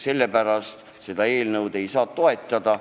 Sellepärast seda eelnõu ei saa toetada.